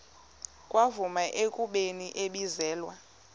kwavunyelwana ekubeni ibizelwe